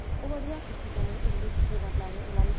Ola bilər ki, siz onun illik peyvəndlərini eləmisiniz.